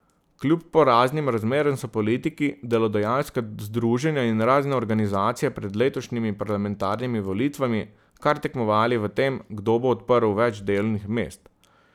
Kljub poraznim razmeram so politiki, delodajalska združenja in razne organizacije pred letošnjimi parlamentarnimi volitvami kar tekmovali v tem, kdo bo odprl več delovnih mest.